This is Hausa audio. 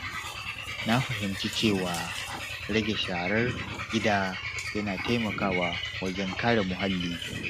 Na fahimci cewa rage sharar gida yana taimakawa wajen kare muhalli.